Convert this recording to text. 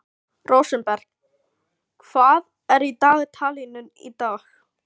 Rósenberg, hvað er í dagatalinu í dag?